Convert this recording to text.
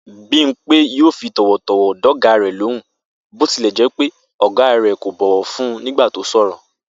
Bímpé yóò fi tò̩wò̩tò̩wò̩ dò̩gá rè̩ lóhùn bó tilè̩ jé̩ pé ò̩gá rè̩ kò bọ̀wò̩ fún un nígbà tó sò̩rò̩